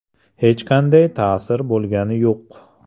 Hech qanday ta’sir bo‘lgani yo‘q.